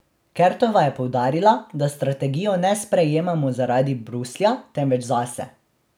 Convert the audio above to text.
Kertova je poudarila, da strategijo ne sprejemamo zaradi Bruslja, temveč zase.